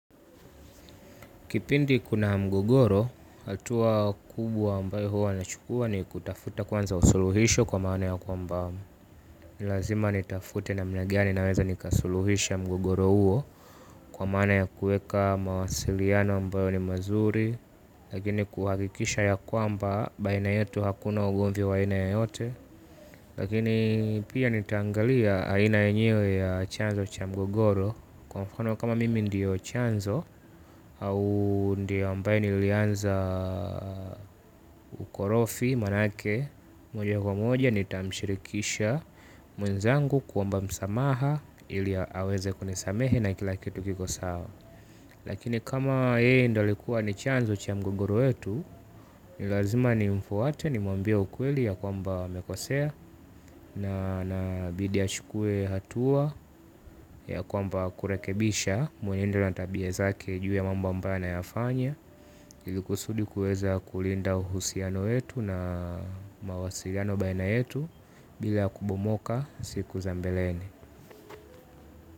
Kipindi kuna mgogoro, hatua kubwa ambayo hua nachukua ni kutafuta kwanza suluhisho kwa maana ya kwamba. Ni lazima nitafute namna gani naweza nikasuluhisha mgogoro huo kwa maana ya kuweka mawasiliano ambayo ni mazuri, lakini kuhakikisha ya kwamba baina yetu hakuna ugomvi wa aina yoyote, lakini pia nitaangalia aina yenyewe ya chanzo cha mgogoro, kwa mfano kama mimi ndio chanzo au ndiye ambaye nilianza ukorofi manake moja kwa moja nitamshirikisha mwenzangu kuomba msamaha ili aweze kunisamehe na kila kitu kikue sawa. Lakini kama yeye ndiye alikuwa ni chanzo cha mgogoro wetu, ni lazima nimfuate nimwambie ukweli ya kwamba amekosea na inabidi achukue hatua ya kwamba kurekebisha mwenendo na tabia zake juu ya mambo ambayo anayafanya, ili kusudi kuweza kulinda uhusiano wetu na mawasiliano baina yetu bila kubomoka siku za mbeleni.